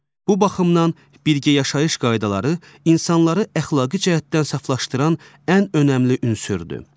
Bu baxımdan birgə yaşayış qaydaları insanları əxlaqi cəhətdən saflaşdıran ən önəmli ünsürdür.